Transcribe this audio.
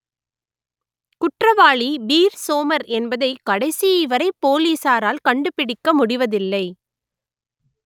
குற்றவாளி Pierre Somer என்பதை கடைசீவரை போலீஸாரால் கண்டுபிடிக்க முடிவதில்லை